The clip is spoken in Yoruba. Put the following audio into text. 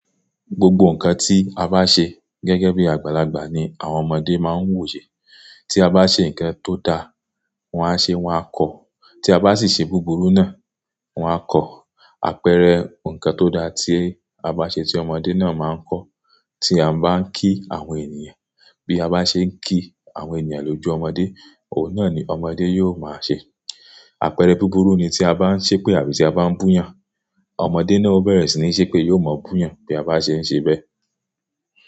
Gbogbo nǹkan tí a bá ṣe gẹ́gẹ́ bí àgbàlagbà ni àwọn ọmọdé máa ń wò ṣe. Tí a bá ṣe nǹkan tó da, wọ́n á ṣe, wọn á kọ́. Tí a bá sì ṣe búburú náà, wọn á kọ́. Àpẹẹrẹ nǹkan tó da tí a bá ṣe tí ọmọdé náà máa ń kọ́. Tí a bá ń kí àwọn ènìyàn, bí a bá ṣe ń kí àwọn ènìyàn lójú ọmọdé, òun náà ni ọmọdé yóò máa ṣe. Àpẹẹrẹ búburú ni tí a bá ń ṣépè àbí tí a bá ń bú eeyàn, ọmọdé náà ó bẹ̀rẹ̀ sí ní ṣépè yóò máa bú eeyàn bí a bá ṣe ń ṣe bẹ́ẹ̀.